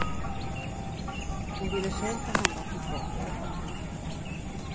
Hon ville själv ta hand om sitt barn, men kunde inte.